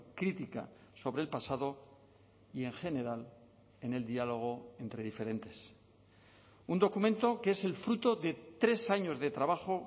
crítica sobre el pasado y en general en el diálogo entre diferentes un documento que es el fruto de tres años de trabajo